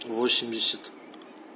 восемьдесят